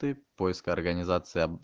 ты поиск организации